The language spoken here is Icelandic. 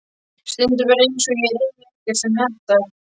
Stundum er eins og ég eigi ekkert sem hentar.